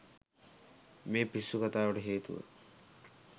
මේ පිස්සු කතාවට හේතුව